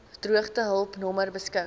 droogtehulp nommer beskik